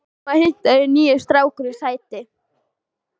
Mamma heimtaði að nýi strákurinn sæti.